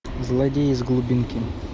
злодеи из глубинки